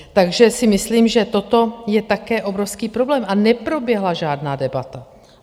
Takže si myslím, že toto je také obrovský problém a neproběhla žádná debata.